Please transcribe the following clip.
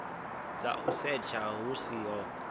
dza u setsha hu siho